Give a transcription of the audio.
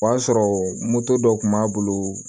O y'a sɔrɔ dɔ kun b'a bolo